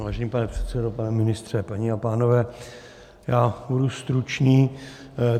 Vážený pane předsedo, pane ministře, paní a pánové, já budu stručný.